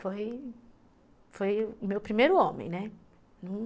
Foi o meu primeiro homem, né?